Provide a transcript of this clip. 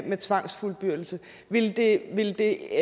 med tvangsfuldbyrdelse ville det ville det